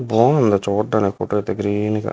బాగుంది చూడనికి ఫోటో అయితే గ్రీన్ గా--